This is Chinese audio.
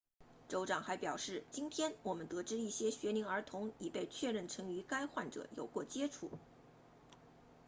州长还表示今天我们得知一些学龄儿童已被确认曾与该患者有过接触